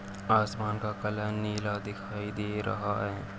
आसमान का कलर नीला दिखाई दे रहा है।